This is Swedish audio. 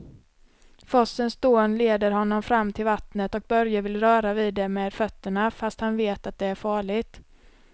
Forsens dån leder honom fram till vattnet och Börje vill röra vid det med fötterna, fast han vet att det är farligt.